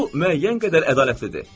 Bu müəyyən qədər ədalətlidir.